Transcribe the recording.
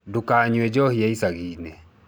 Ndũkanyue njohi ya icagi-inĩ.